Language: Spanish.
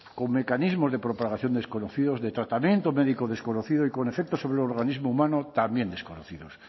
con mecanismos de propagación desconocidos de tratamiento médico desconocido y con efectos sobre el organismo humano también desconocidos